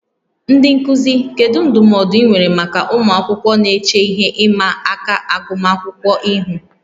Ndị nkuzi, kedu ndụmọdụ ị nwere maka ụmụ akwụkwọ na-eche ihe ịma aka agụmakwụkwọ ihu?